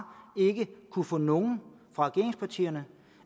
ikke kunnet få nogen fra regeringspartierne